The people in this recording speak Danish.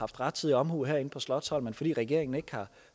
rettidig omhu herinde på slotsholmen fordi regeringen ikke har